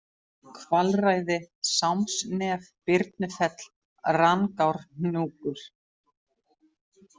Kvalræði, Sámsnef, Birnufell, Rangárhnjúkur